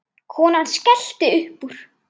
Konan skellti upp úr.